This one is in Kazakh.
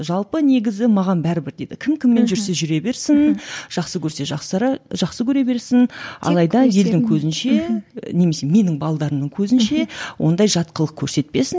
жалпы негізі маған бәрібір дейді кім кіммен жүрсе жүре берсін жақсы көрсе жақсара жақсы көре берсін көзінше немесе менің көзінше ондай жат қылық көрсетпесін